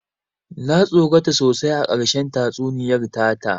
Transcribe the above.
Na tsorata sosai a ƙarshen tatsuniyar ta ta